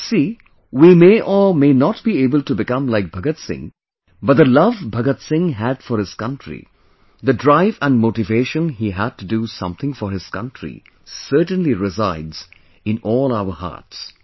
Well see ; We may or may not be able to become like Bhagat Singh, but the love Bhagat Singh had for his country, the drive and motivation he had to do something for his country certainly resides in all our hearts